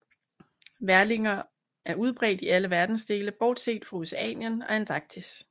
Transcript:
Værlinger er udbredt i alle verdensdele bortset fra Oceanien og Antarktis